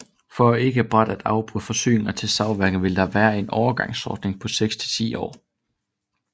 For ikke brat at afbryde forsyningerne til savværkerne vil der være en overgangsordning på seks til ti år